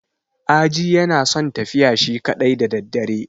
Aji yana son tafiya shi kaɗai da daddare.